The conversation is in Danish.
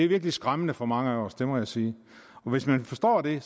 virkelig skræmmende for mange af os det må jeg sige og hvis man forstår det